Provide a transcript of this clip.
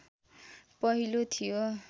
पहिलो थियो